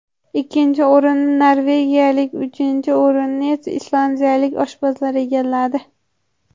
Ikkinchi o‘rinni norvegiyalik, uchinchi o‘rinni esa islandiyalik oshpazlar egalladi.